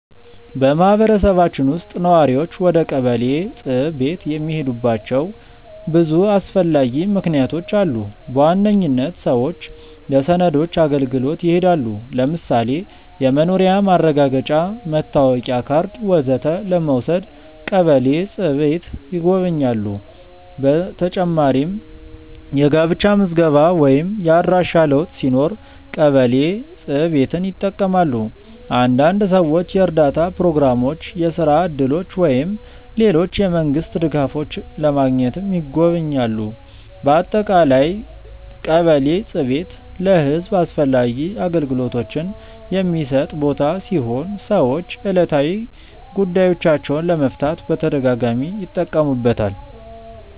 በማህበረሰባችን ውስጥ ነዋሪዎች ወደ ቀበሌ ጽ/ቤት የሚሄዱባቸው ብዙ አስፈላጊ ምክንያቶች አሉ። በዋነኝነት ሰዎች ለሰነዶች አገልግሎት ይሄዳሉ። ለምሳሌ የመኖሪያ ማረጋገጫ፣ መታወቂያ ካርድ ወዘተ ለመውሰድ ቀበሌ ጽ/ቤት ይጎበኛሉ። በተጨማሪም የጋብቻ ምዝገባ ወይም የአድራሻ ለውጥ ሲኖር ቀበሌ ጽ/ቤትን ይጠቀማሉ። አንዳንድ ሰዎች የእርዳታ ፕሮግራሞች፣ የስራ እድሎች ወይም ሌሎች የመንግስት ድጋፎች ለማግኘትም ይጎበኛሉ። በአጠቃላይ ቀበሌ ጽ/ቤት ለህዝብ አስፈላጊ አገልግሎቶችን የሚሰጥ ቦታ ሲሆን ሰዎች ዕለታዊ ጉዳዮቻቸውን ለመፍታት በተደጋጋሚ ይጠቀሙበታል።